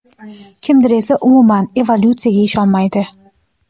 kimdir esa umuman evolutsiyaga ishonmaydi.